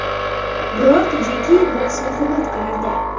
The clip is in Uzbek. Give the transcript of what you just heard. Biroq Jeki boksni hurmat qilardi.